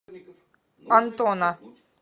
антона